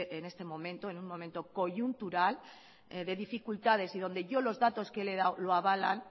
en este momento en un momento coyuntural de dificultades y donde yo los datos que le he dado lo avalan